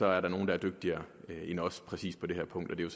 er der nogle der dygtigere end os præcis på det her punkt og det er